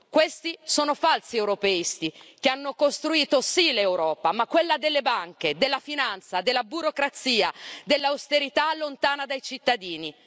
Questi sono falsi europeisti, che sì hanno costruito l'Europa, ma quella delle banche e della finanza, della burocrazia e dell'austerità lontana dai cittadini.